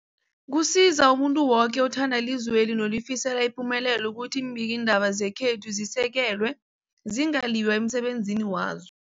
Kusiza umuntu woke othanda ilizweli nolifisela ipumelelo ukuthi iimbikiindaba zekhethu zisekelwe, zingaliywa emsebenzini wazo.